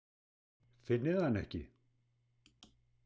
Finnið þið hana ekki?